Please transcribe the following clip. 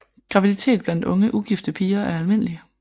Graviditet blandt unge ugifte piger er almindelig